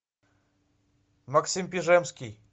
максим пежемский